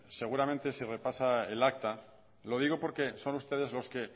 seguramente si repasa el acta lo digo porque son ustedes los que